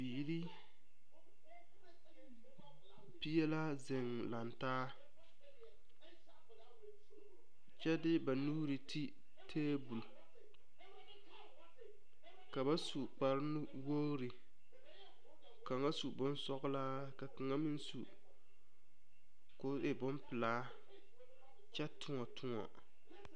Biiri pie la zeŋ lantaa kyɛ de ba nuuri ti tebol ka ba su kpare nuwogri kaŋa su bonsɔglaa ka kaŋa meŋ su k'o e bompelaa kyɛ toɔtoɔ.